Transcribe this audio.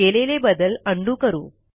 केलेले बदल उंडो करू